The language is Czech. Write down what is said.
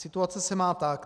Situace se má tak.